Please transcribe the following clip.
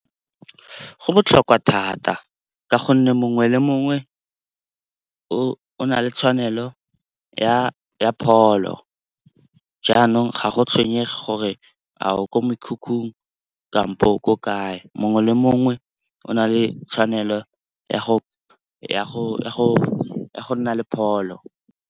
Go botlhokwa thata ka gonne mongwe le mongwe o na le tshwanelo ya pholo. Jaanong ga go tshwenyege gore a o ko mekhukhung kampo o ko kae, mongwe le mongwe o na le tshwanelo ya go nna le pholo.